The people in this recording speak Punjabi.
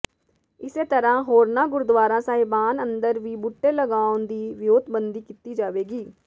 ਇਸੇ ਤਰ੍ਹਾਂ ਹੋਰਨਾਂ ਗੁਰਦੁਆਰਾ ਸਾਹਿਬਾਨ ਅੰਦਰ ਵੀ ਬੂਟੇ ਲਗਾਉਣ ਦੀ ਵਿਉਂਤਬੰਦੀ ਕੀਤੀ ਜਾਵੇਗੀ